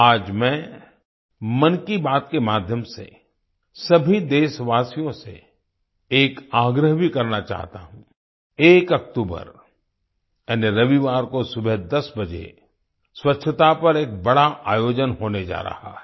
आज मैं मन की बात के माध्यम से सभी देशवासियों से एक आग्रह भी करना चाहता हूं 1 अक्टूबर यानि रविवार को सुबह 10 बजे स्वच्छता पर एक बड़ा आयोजन होने जा रहा है